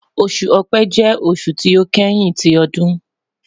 Oṣu Ọ̀pẹ jẹ oṣu ti o kẹhin ti ọdun